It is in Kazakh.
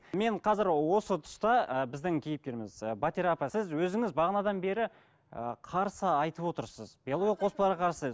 мен қазір осы тұста ыыы біздің кейіпкеріміз ы батира апа сіз өзіңіз бағанадан бері ііі қарсы айтып отырсыз биологиялық қоспаларға қарсы